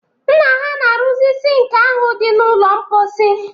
Nna ha na-arụzi sink ahụ dị n'ụlọ mkposi